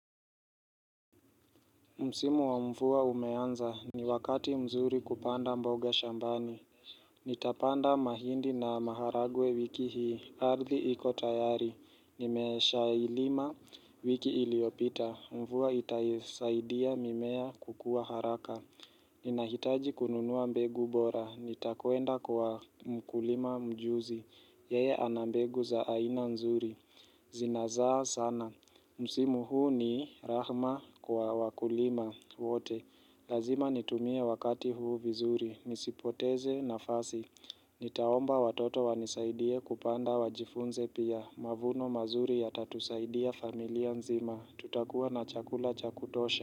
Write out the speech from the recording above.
Msimu wa mvua umeanza, ni wakati mzuri kupanda mboga shambani Nitapanda mahindi na maharagwe wiki hii, ardhi iko tayari nimesha ilima wiki iliyopita, mvua itaisaidia mimea kukua haraka Ninahitaji kununua mbegu bora, nitakwenda kwa mkulima mjuzi Yeye anambegu za aina nzuri, zinazaa sana Msimu huu ni rehema kwa wakulima wote Lazima nitumie wakati huu vizuri nisipoteze nafasi Nitaomba watoto wanisaidie kupanda wajifunze pia Mavuno mazuri ya tatusaidia familia nzima Tutakuwa na chakula chakutosha.